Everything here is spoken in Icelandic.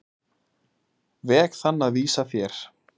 veg þann að vísa þér.